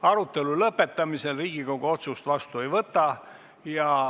Arutetlu lõppemisel Riigikogu otsust vastu ei võta.